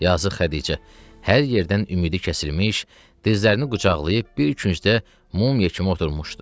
Yazıq Xədicə hər yerdən ümidi kəsilmiş, dizlərini qucaqlayıb bir küncdə mumya kimi oturmuşdu.